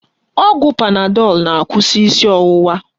Ọgwụ panadọl na-akwụsị isi ọwụwa